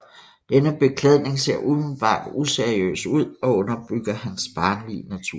Denne beklædning ser umiddelbart useriøs ud og underbygger hans barnlige natur